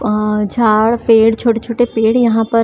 अ झाड़ पेड़ छोटे छोटे पेड़ यहाँ पर --